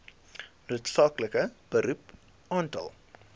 noodsaaklike beroep aantal